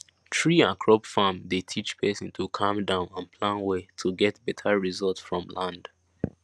tree and crop farm dey teach person to calm down and plan well to get better result from land